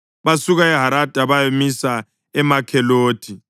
Basuka eHarada bayamisa eMakhelothi.